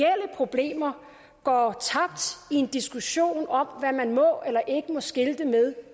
problemer går tabt i en diskussion om hvad man må eller ikke må skilte med